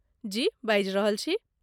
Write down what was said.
जी, बाजि रहल छी।